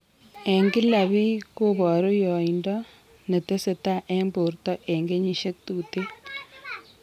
Eng' kila biik kobooru yoindoo netesetai eng' borto eng' kenyisiek tuuten